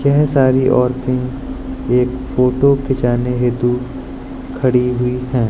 यह सारी औरतें एक फोटो खींचने हेतु खड़ी हुई है।